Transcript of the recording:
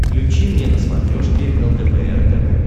включи мне на смотрешке лдпр тв